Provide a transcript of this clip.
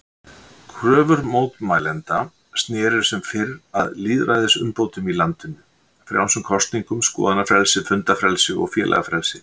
Kröfur mótmælendanna snerust sem fyrr að lýðræðisumbótum í landinu, frjálsum kosningum, skoðanafrelsi, fundafrelsi og félagafrelsi.